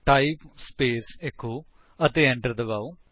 type space echo ਅਤੇ enter ਦਬਾਓ